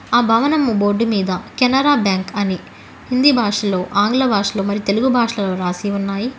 ఆ భవనం బోర్డు మీద కెనరా బ్యాంక్ అని హిందీ భాషలో ఆంగ్ల భాషలో మరి తెలుగు భాషలో రాసి ఉన్నాయి.